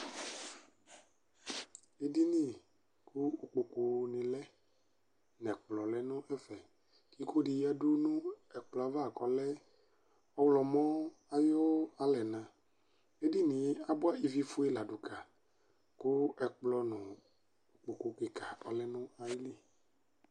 Edini kʋ ikpokʋ ni lɛ nʋ ɛkplɔlɛ nʋ ɛfɛ, ikodi yadʋ nʋ ɛkplɔ yɛ ava kʋ ɔlɛ ɔwlɔmɔ ayʋ alɛna Edinie abʋa ivifue ladʋ ka kʋ ɛkplɔ nʋ ikpokʋ kika ɔlɛnʋ ayili